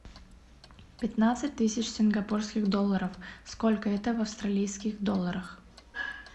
пятнадцать тысяч сингапурских долларов сколько это в австралийских долларах